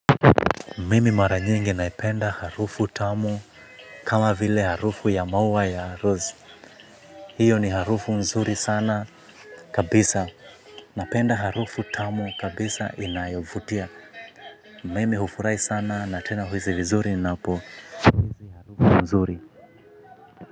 Mimi mara nyingi naipenda harufu tamu kama vile harufu ya maua ya rose. Hiyo ni harufu nzuri sana kabisa. Napenda harufu tamu kabisa inayovutia. Mimi hufurahi sana na tena huhisi vizuri ninapohisi harufu nzuri.